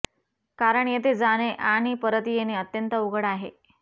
कारण येथे जाने आणि परत येने अत्यंत अवघड आहे